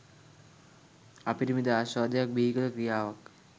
අපරිමිත ආශ්වාදයක් බිහි කළ ක්‍රියාවක්.